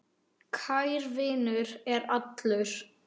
Kær vinur er allur.